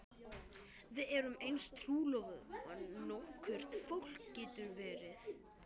Við erum eins trúlofuð og nokkurt fólk getur verið.